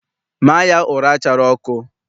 Maa ya ụra chara ọkụ!